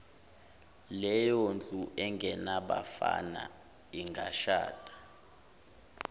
leyondlu engenabafana ingashada